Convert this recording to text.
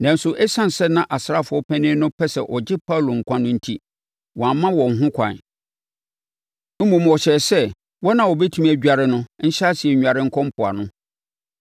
Nanso, ɛsiane sɛ na asraafoɔ panin no pɛ sɛ ɔgye Paulo nkwa no enti, wamma wɔn ho ɛkwan. Mmom, ɔhyɛɛ sɛ wɔn a wɔbɛtumi adware no ahyɛaseɛ nnware nkɔ mpoano.